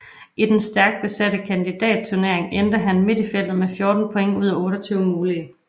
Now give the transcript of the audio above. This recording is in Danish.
I den stærkt besatte kandidatturnering endte han midt i feltet med 14 points ud af 28 mulige